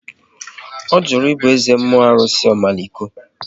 Ọ jụrụ ibu eze mmụọ arụsị Omaliko